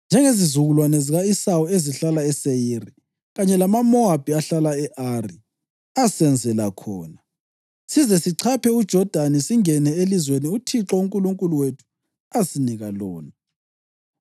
njengezizukulwane zika-Esawu ezihlala eSeyiri, kanye lamaMowabi ahlala e-Ari, asenzela khona, size sichaphe uJodani singene elizweni uThixo uNkulunkulu wethu asinika lona.’